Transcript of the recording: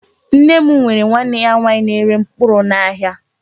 Nne m nwere nwanne ya nwaanyị na-ere mkpụrụ n'ahịa.